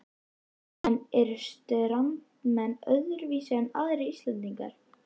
En eru Strandamenn öðruvísi en aðrir Íslendingar?